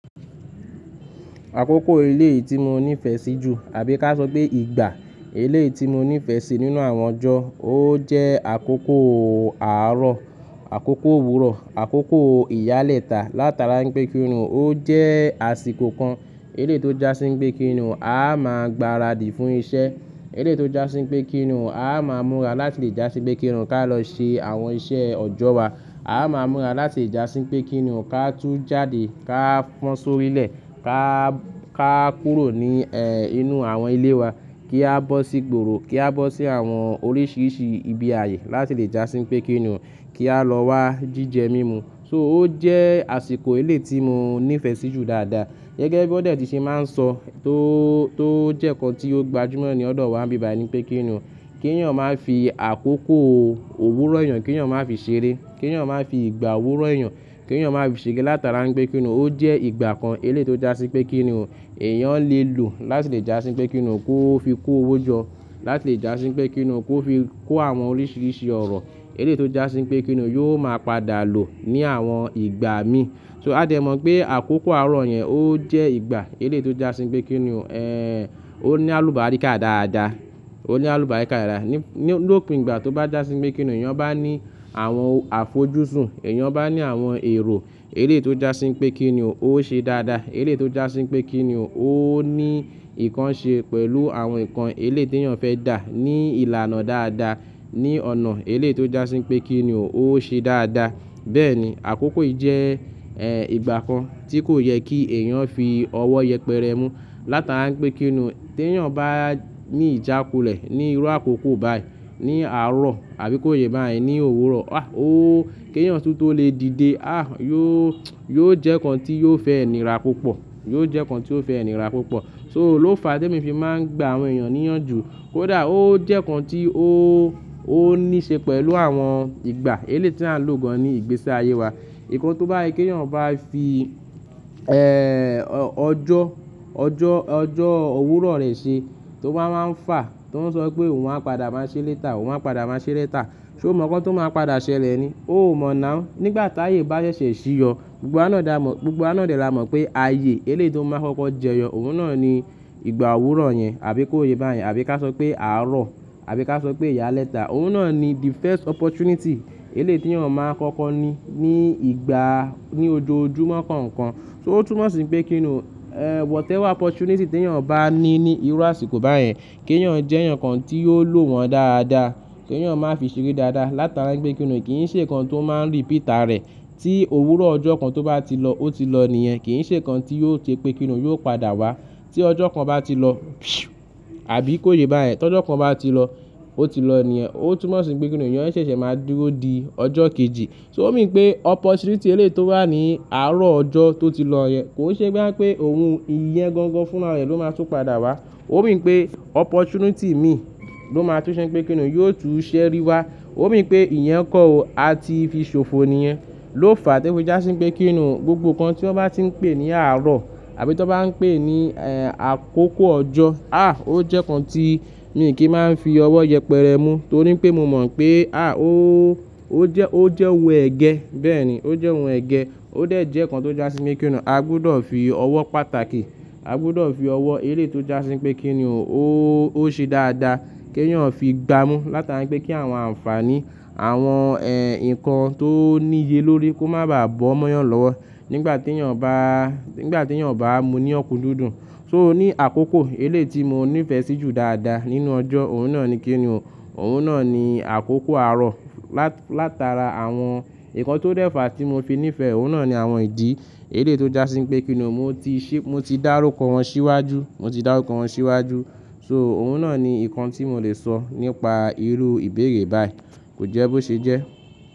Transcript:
Àkókò ilé tí mo nífẹ̀ẹ́ sí jù àbí ká sọ pé ìgbà eléèti mo nífẹ̀ẹ́ sí nínú àwọn ọjọ́, ó jẹ́ àkókò àárọ̀, àkókò òwúrọ̀, àkókò ìyálẹ̀ta látara ń pé kí ni ọ́n. Ó jẹ́ àsìkò kan eléétó já sí ń pé kí ni ọ́n, a máa gbáradì fún iṣẹ́. Eléétó já sí ń pé kí ni ọ́n, a máa múra láti lè já sí ń pé kí ni ọ́n ká lọ ṣe àwọn iṣẹ́ ọjọ́ wa. A máa múra láti lè já sí ń pé kí ni ọ́ ká tú jáde, ká fọ́n sórílẹ̀, ká, ká kúrò ní, eh, inú àwọn ilé wa, kí a bọ́ sí ìgboro, kí a bọ́ sí àwọn oríṣiiríṣii ibi ayé láti lè já sí ń pé kí ni ọ́ kí a lọ wá jíjẹ mímu. So ó jẹ́ àsìkò eléyi ti mo nífẹ̀ẹ́ sí jù dáadáa. Gẹ́gẹ́ bí ó dé tí ṣe máa ń sọ tó, tó jẹ́ nǹkan tí ó gbajúmọ̀ ní ọ̀dọ̀ wa n bí bài ní pé kí ni ọ́. Kí èèyàn máa ń fi àkókò òwúrọ̀ èèyàn, kí èèyàn máa ń fi ṣeré, kí èèyàn máa fi ìgbà òwúrọ̀ èèyàn, kí èèyàn máa ń fi ṣeré látara ń pé kí ni ọ́. Ó jẹ́ ìgbà kan eléétó já sí ń pé kí ni ọ́n èèyàn lè lò láti lè já sí ń pé kí ni ọ́n kó fi kó owó jọ, láti lè já sí ń pé kí ni ọ́n kó fi kó àwọn oríṣiríṣi ọ̀rọ̀. Eléyi tó já sí wipé kí ni ọ́ yóò máa padà lò ní àwọn ìgbà mi. So a dẹ̀ mọ̀ pé àkókò àárọ̀ yẹn ó jẹ́ ìgbà eléyi tó já sí wipé kí ni ọ́, eh, ó ní àlùbáríkà dáadáa, ó ní àlùbáríkà dáadáa. Ni, lòpin ìgbà tó bá já sí wipé kí ni ọ́ èèyàn bá ní àwọn àfojúsùn, èèyàn bá ní àwọn èrò eléyi tó já sí wipé kí ni ọ́ ó ṣe dáadáa. Eléétó já sí wipé kí ni ọ́ ó ní ìkan ṣe pẹ̀lú àwọn nǹkan eléyi ti èèyàn fẹ́ dà ní ìlànà dáadáa, ní ọ̀nà eléyi tó já sí wipé kí ni ọ́ ó ṣe dáadáa. Bẹ́ẹ̀ ni àkókò yìí jẹ́, eh, ìgbà kan tí kò yẹ kí èèyàn fi ọwọ́ yẹpẹrẹ mú látara wipé kí ni ọ́ tí èèyàn bá ní ìjákulẹ̀ ní irú àkókò báyìí, ní àárọ̀ àbí kó yè bá yẹn ní òwúrọ̀. Ah! Ó, kí èèyàn tún tó lè dìde, ah! Yóò, yóò jẹ́ nǹkan tí yóò fẹ nira púpọ̀, yóò jẹ́ nǹkan tí ó fẹ́ nira púpọ̀. So ló fàá tí èmi fi máa ń gba àwọn èèyàn ní ìyànjú. Kódà ó jẹ́ nǹkan tí ó, ó ní ṣe pẹ̀lú àwọn ìgbà eléyi ti à ń lò gan-an ní ìgbésí ayé wa. Ìkán tó bá yé kí èèyàn bá fi, eh, ọjọ́, ọjọ́, ọjọ́ òwúrọ̀ rẹ̀ ṣe tó ba wá ń fà, tó ń sọ pé òun a padà máa ṣe leta, òun á padà máa ṣe leta. Sé ó mọ̀ nǹkan tó máa padà ṣẹlẹ̀ ni? Ó ò mọ̀ now. Nígbà táàyè bá ṣẹ̀ṣẹ̀ ṣí yọ, gbogbo wa ná dà mọ̀, gbogbo wa ná dè lá mọ̀ pé ayé eléyi tó ń máa kọ́kọ́ jẹyọ òun náà ni ìgbà òwúrọ̀ yẹn àbí kó yè bá yẹn àbí ká sọ pé àárọ̀ àbí ká sọ pé ìyálẹ́ta òun náà ni the first opportunity eléyi ti èèyàn máa kọ́kọ́ ní, ní ìgbà, ní ojoojúmọ́ kọ̀ọ̀kan. So ó túmọ̀ sí pé kí ni ọ́, eh, whatever opportunity tí èèyàn bá ní ní irú àsìkò báyẹn, kí èèyàn jẹ́ èèyàn kan tí yóò lò wọ́n dáadáa, kí èèyàn máa fi ṣeré dáadáa látara ń gbé kí ni ọ́ kì í ṣe nǹkan tó máa ń repeat ara ẹ̀. Tí òwúrọ̀ ọjọ́ kan tó bá ti lọ, ó ti lọ nìyẹn. Kì í ṣe nǹkan tí yóò ṣe pé kí ni ọ́ yóò padà wá. Tí ọjọ́ kan bá ti lọ, àbí kó yè bá yẹn, tí ọjọ́ kan bá ti lọ, ó ti lọ nìyẹn. Ó túmọ̀ sí pé kí ni ọ́n èèyàn ṣẹ̀ṣẹ̀ máa dúró di ọjọ́ kejì. So ó mi pé opportunity eléyi tó wà ní àárọ̀ ọjọ́ tó ti lọ yẹn kò ṣe bo ya ń pè òun, ìyẹn gangan fúnra rẹ̀ ló máa tun padà wá. Ó mi pé opportunity mi ló máa tó ṣe pé kí ni ọ́ yóò tun ṣeri wá. Ó mi pé ìyẹn kọ́ o, a ti fi ṣòfò nìyẹn. Ló fàá tí ó fi já sí ń pé kí ni ọ́ gbogbo nǹkan tí wọ́n bá tí ń pè ní àárọ̀ àbí tí wọ́n bá ń pè ní, eh, àkókò ọjọ́, ah! Ó jẹ́ nǹkan tí mi kì í máa ń fi ọwọ́ yẹpẹrẹ mú torí pé mo mọ̀ pé ah! Ó, ó jẹ́, ó jẹ́ ohun ẹ̀gẹ́. Bẹ́ẹ̀ ni, ó jẹ́ ohun ẹ̀gẹ́. Ó dé jẹ́ nǹkan tó já sí ń pé kí ni ọ́ a gbudọ̀ fi ọwọ́ pàtàkì, a gbudọ̀ fi ọwọ́ eléyi tó já sí ń pé kí ni ọ́ ó, ó ṣe dáadáa kí èèyàn fi gbá mú látara ń gbé kí àwọn àǹfààní, àwọn, eh, nǹkan tó níye lórí kó má bàá bọ́ mọ́yàn lọ́wọ́ nígbà tí èèyàn bá, nígbà tí èèyàn bá mú ní ọkun dúndún So ó ní àkókò eléyi ti mo nífẹ̀ẹ́ sí jù dáadáa nínú ọjọ́ òun náà ni kí ni ọ́. Òun náà ni àkókò àárọ̀ lát, látara àwọn nǹkan tó dẹ̀ fàá tí mo fi nífẹ̀ẹ́ òun náà ni àwọn ìdí eléyi tó já sí ń pé kí ni ọ́ mo ti ṣe, mo ti dárúkọ wọn síwájú, mo ti dárúkọ wọn síwájú. So òun náà ni nǹkan tí mo lè sọ nípa irú ìbéèrè báyìí. Kò jẹ́ bó ṣe jẹ́.